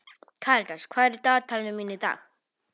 Karitas, hvað er í dagatalinu mínu í dag?